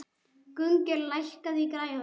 Gunngeir, lækkaðu í græjunum.